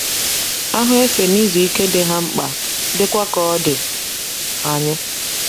Ahụ efe na izu ike dị ha mkpa, dịkwa ka ọ dị anyị.